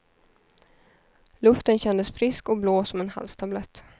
Luften kändes frisk och blå som en halstablett.